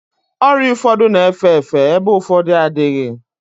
Ọrịa ụfọdụ na-efe efe ebe ụfọdụ adịghị